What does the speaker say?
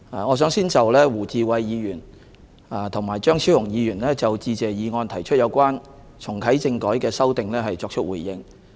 我想先就胡志偉議員和張超雄議員就致謝議案提出有關重啟政改的修訂作出回應。